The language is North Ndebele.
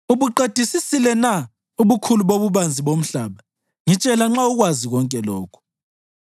Ubuqedisisile na ubukhulu bobubanzi bomhlaba? Ngitshela nxa ukwazi konke lokhu.